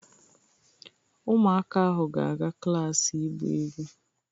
Ụmụaka ahụ ga-aga klas ịgba egwu.